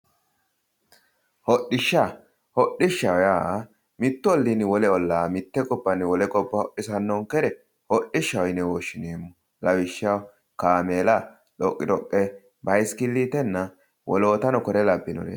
hodhishsha hodhishsha yaa mittu olliinni wole ollaa mitte gobbanni wole gobba hodhisannonkere hodhishshaho yine woshshineemmo lawishshaho kaameela xoqixoqe bayisikilitenna wolootano kore labbinoreeti.